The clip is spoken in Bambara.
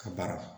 Ka baara